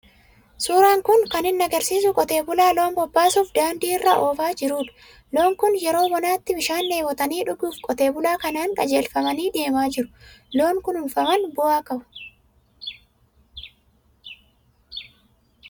Suuraan kun kan inni agarsiisu qotee bulaa loon bobbaasuuf daandii orra oofaa jirudha. Loon kun yeroo bonaatti bishaan dheebotanii dhuguuf qotee bulaa kanaan qajeelfamanii deemaa jiru. Loon kunfuunfaman bu'aa qabu.